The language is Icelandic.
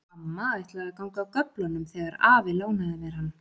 Amma ætlaði að ganga af göflunum þegar afi lánaði mér hann.